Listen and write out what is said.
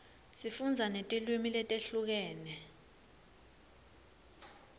sifundza netilwimi letehlukene